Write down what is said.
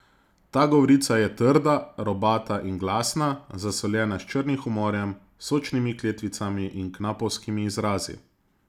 Ta govorica je trda, robata in glasna, zasoljena s črnim humorjem, sočnimi kletvicami in knapovskimi izrazi.